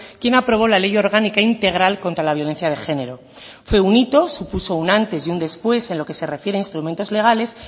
quien aprobó la ley orgánica integral contra la violencia de género fue un hito supuso una antes y un después en lo que se refiere a instrumentos legales